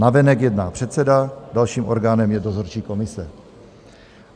Navenek jedná předseda, dalším orgánem je dozorčí komise.